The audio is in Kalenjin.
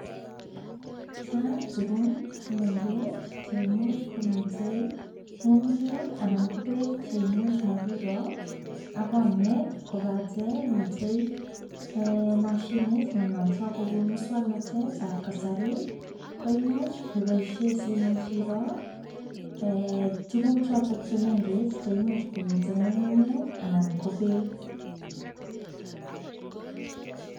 Chang tugun chemengech che imuch komiten ng'ung'unyek anan ko beek che imuch komakiroo ak konyek kobatei miten moshinit ne notoi kobun muswoknatetab kasari koimuch keboishen simuch iroo tuguk choto che mengech che imuch komiten ng'ung'unyek anan ko beek.